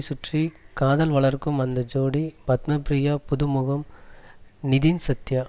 சுற்றி காதல் வளர்க்கும் அந்த ஜோடி பத்மப்ரியா புதுமுகம் நிதின் சத்யா